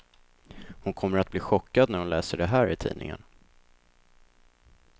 Hon kommer att bli chockad när hon läser det här i tidningen.